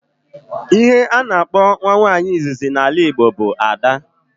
Ihe a na-akpọ nwa nwaanyị izizi na ala Igbo bụ 'ada'